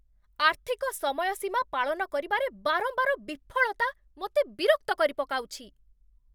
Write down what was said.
ଆର୍ଥିକ ସମୟସୀମା ପାଳନ କରିବାରେ ବାରମ୍ବାର ବିଫଳତା ମୋତେ ବିରକ୍ତ କରିପକାଉଛି।